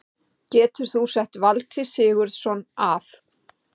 Getur þú sett Valtý Sigurðsson af?